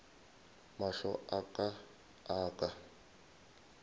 mahlo a ka a ka